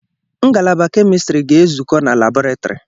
Ngalaba Kemistiri ga-ezukọ na labọretrị